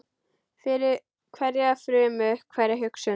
Fyllir hverja frumu, hverja hugsun.